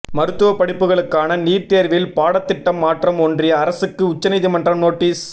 மருத்துவப்படிப்புகளுக்கான NEET தேர்வில் பாடத்திட்டம் மாற்றம் ஒன்றிய அரசுக்கு உச்சநீதிமன்றம் நோட்டீஸ்